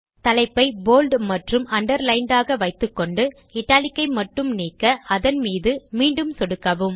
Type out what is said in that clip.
தலைப்பை போல்ட் மற்றும் அண்டர்லைண்ட் ஆக வைத்துக்கொண்டு இட்டாலிக் ஐ மட்டும் நீக்க அதன் மீது மீண்டும் சொடுக்கவும்